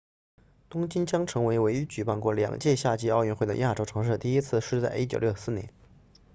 东京将成为唯一举办过两届夏季奥运会的亚洲城市第一次是在1964年